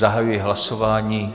Zahajuji hlasování.